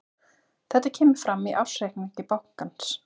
Þetta kemur fram í ársreikningi bankans